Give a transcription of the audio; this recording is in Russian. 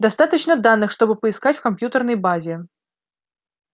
достаточно данных чтобы поискать в компьютерной базе